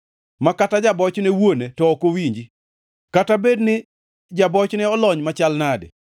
ma kata ja-bochne wuone to ok owinji, kata bed ni ja-bochneno olony machal nadi.